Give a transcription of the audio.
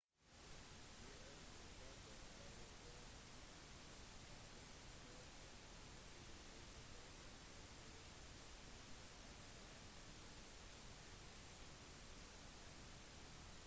gi også kopier av forsikrings-/kontaktkopier til reisefeller og til slektninger eller venner hjemme som er klare til å hjelpe